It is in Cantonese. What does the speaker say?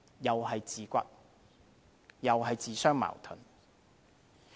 又是自打嘴巴，自相矛盾。